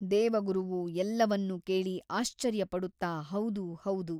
ದೇವಗುರುವು ಎಲ್ಲವನ್ನೂ ಕೇಳಿ ಆಶ್ಚರ್ಯಪಡುತ್ತ ಹೌದು ಹೌದು.